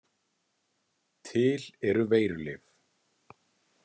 Til eru veirulyf.